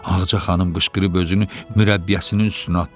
Ağca xanım qışqırıb özünü mürəbbiyəsinin üstünə atdı.